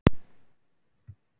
Ég er fædd í Reykjavík.